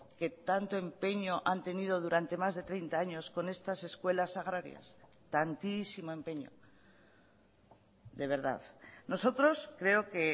que tanto empeño han tenido durante más de treinta años con estas escuelas agrarias tantísimo empeño de verdad nosotros creo que